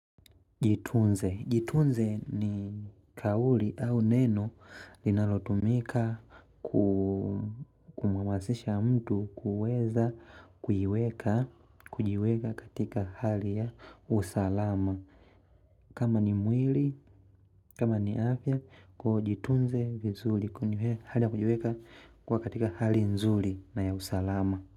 Jitunze. Jitunze ni kauli au neno linalotumika kumhamasisha mtu kuweza kujiweka katika hali ya usalama. Kama ni mwili, kama ni afya kuwa ujitunze vizuri. Kwa hali ya kujiweka katika hali nzuri na ya usalama.